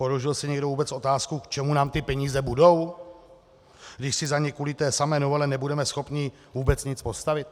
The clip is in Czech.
Položil si někdo vůbec otázku, k čemu nám ty peníze budou, když si za ně kvůli té samé novele nebudeme schopni vůbec nic postavit?